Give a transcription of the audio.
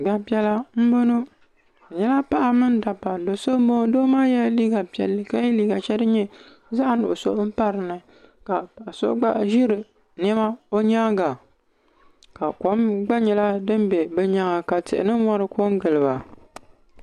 Gbanpiɛla n boŋɔ bi nyɛla paɣaba mini dabba do so n boŋo doo maa yɛla liiga piɛlli ka yɛ liiga shɛli din nyɛ zaɣ nuɣso n pa dinni ka Paɣa so gba ʒiri niɛma bi nyaanga ka kom gba nyɛla din bɛ bi nyaanga ka tihi ni mori ko n giliba